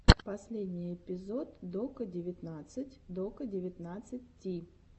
последний эпизод дока девятнадцать дока девятнадцать ти